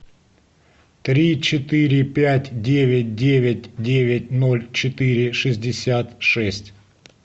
три четыре пять девять девять девять ноль четыре шестьдесят шесть